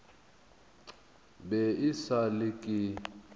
be e sa le ke